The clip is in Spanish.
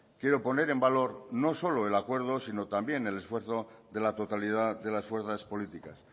quiero poner en valor no solo el acuerdo sino también el esfuerzo de la totalidad de las fuerzas políticas